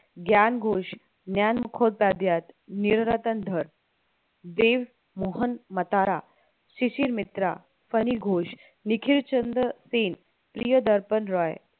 ज्ञान घोष, ज्ञान नीलरतन धळ, देवमोहन मतारा, शिशिर मित्रा, फनी घोष, निखिल चंद्र सेन, प्रियदर्पण रॉय